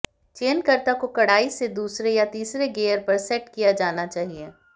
चयनकर्ता को कड़ाई से दूसरे या तीसरे गियर पर सेट किया जाना चाहिए